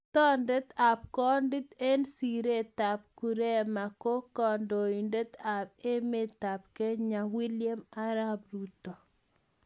Toot ab Kondit eng siretab koriema ko kandoindet ab emetab Kenya William Arap Ruto